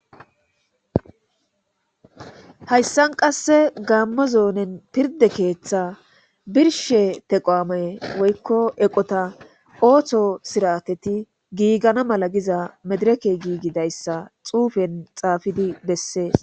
Hayssan qasse gaammo zoonen pirde keeththa birshe teqoame woykko eqota ooththo sirateti giigana mala giza medireke giigidayssa xuufen xaafidi bessees